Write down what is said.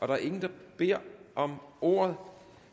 der er ingen der beder om ordet